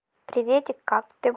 приветик как ты